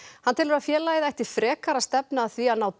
hann telur að félagið ætti frekar að stefna að því að ná